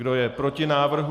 Kdo je proti návrhu?